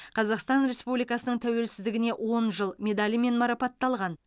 қазақстан республикасының тәуелсіздігіне он жыл медалімен марапатталған